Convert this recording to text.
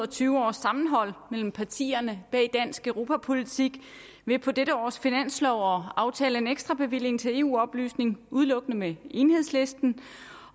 tyve års sammenhold mellem partierne bag dansk europapolitik ved på dette års finanslov at aftale en ekstrabevilling til eu oplysning udelukkende med enhedslisten